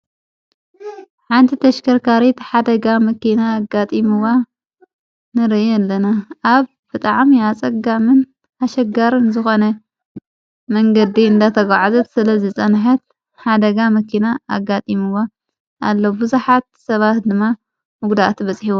ዓበይቲ ተሽከርካርት ሓደጋ መኪና ኣጋጢምዋ ነረየ ኣለነ ኣብ ፍጥዓም ያጸጋምን ሓሸጋርን ዝኾነ መንገዲ እንዳ ተጐዓዘት ስለ ዝጸንሐት ሓደጋ መኪና ኣጋጢምዋ:: ኣለብዙኃት ሰባህ ድማ ምጕዳእት በጽሒይዎ